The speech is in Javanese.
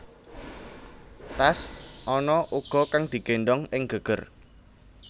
Tas ana uga kang digéndhong ing geger